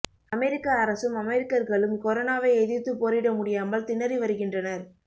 அமெரிக்க அரசும் அமெரிக்கர்களும் கொரோனாவை எதிர்த்து போரிட முடியாமல் திணறி வருகின்றனர்